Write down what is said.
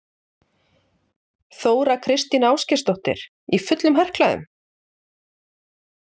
Þóra Kristín Ásgeirsdóttir: Í fullum herklæðum?